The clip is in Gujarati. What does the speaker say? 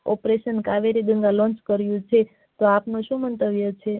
opration કાવેરી જેવી શરુ કરી છે તો આપનું શું મંતવ્ય છે